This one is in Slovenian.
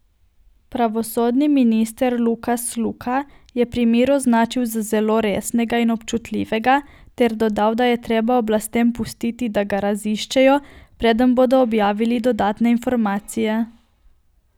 Pravosodni minister Lukas Luka je primer označil za zelo resnega in občutljivega ter dodal, da je treba oblastem pustiti, da ga raziščejo, preden bodo objavile dodatne informacije.